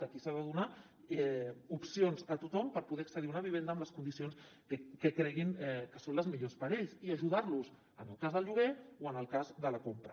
aquí s’ha de donar opcions a tothom per poder accedir a una vivenda en les condicions que creguin que són les millors per a ells i ajudar los en el cas del lloguer o en el cas de la compra